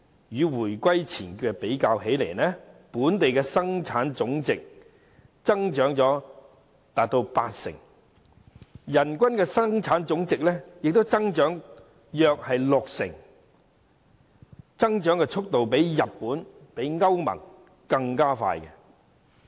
與回歸前比較，本地生產總值增長約八成，人均生產總值亦增長了約六成，增長速度較日本和歐盟更快。